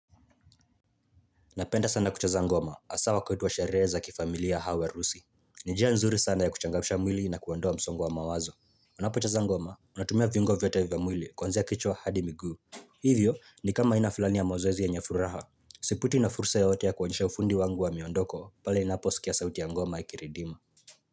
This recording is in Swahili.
Napenda sana kucheza ngoma hasa wakati wa sherehe za kifamilia au harusi. Ni njia nzuri sana ya kuchangamsha mwili na kuondoa msongo wa mawazo. Unapocheza ngoma, unatumia viungo vyote vya mwili kuanzia kichwa hadi miguu. Hivyo ni kama aina fulani ya mazoezi yenye furaha. Sipitwi na fursa yoyote ya kuonyesha ufundi wangu wa miondoko, pale inaposikia sauti ya ngoma ikiridima.